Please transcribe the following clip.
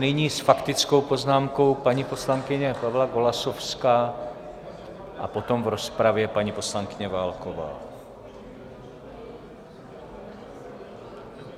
Nyní s faktickou poznámkou paní poslankyně Pavla Golasowská a potom v rozpravě paní poslankyně Válková.